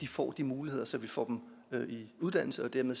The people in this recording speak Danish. får de muligheder så vi får dem sat i uddannelse og dermed